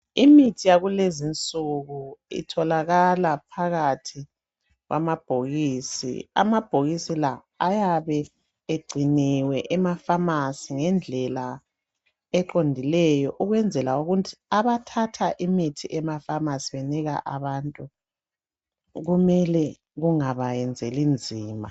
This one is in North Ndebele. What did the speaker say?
Imithi yakulezi insuku itholakala phakathi kwamabhokisi amabhokisi la ayabe egciniwe ema phamarcy ngendlela eqondileyo ukwenzele ukuthi abathatha imithi ema pharmacy benika abantu kumele kungabayenzeli nzima.